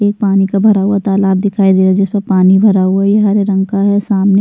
एक पानी का भरा हुआ तालाब दिखाई दे रहा है जिसमे पानी भरा हुआ है ये हरे रंग का है सामने --